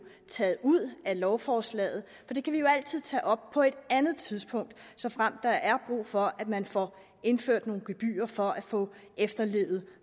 taget ud af lovforslaget for det kan vi jo altid tage op på et andet tidspunkt såfremt der er brug for at man får indført nogle gebyrer for at få efterlevet